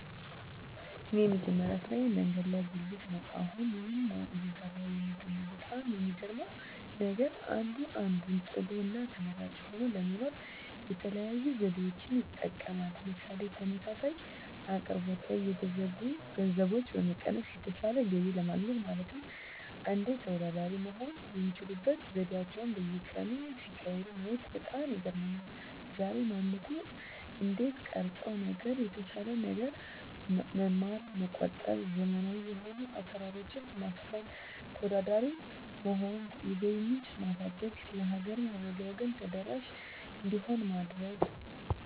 እኔ የመጀመሪያ ስራየ መንገድ ላይ ጉልት ነው አሁንም ይህንን ነው እየሰራሁ የምገኘው በጣም የሚገርመው ነገር አንዱ አንዱን ጥሎ እና ተመራጭ ሆኖ ለመኖር የተለያዩ ዘዴዎችን ይጠቀማል ምሳሌ ተመሳሳይ አቅርቦት ላይ የተወሰኑ ገንዘቦችን በመቀነስ የተሻለ ገቢ ለማግኘት ማለትም እንዴት ተወዳዳሪ መሆን የሚችሉበት ዘዴአቸዉን በየቀኑ ሲቀያይሩ ማየት በጣም ይገርመኛል ዛሬ ማንነትዎን እንዴት ቀረፀው ነገር የተሻለ ነገር መማር መቆጠብ ዘመናዊ የሆኑ አሰራሮች ማስፈን ተወዳዳሪ መሆን የገቢ ምንጭ ማሳደግ ለሀገርም ሆነ ለወገን ተደራሽ እንዲሆን ማድረግ